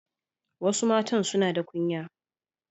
Wasu matan suna da kunya.